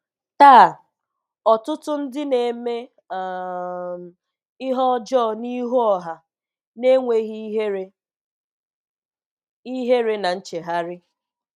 Taa, ọtụtụ ndị na-eme um ihe ọjọọ n'ihu ọha, n'enweghị ihere, ihere na nchegharị.